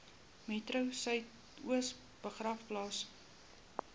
metro suidoos begraafplaas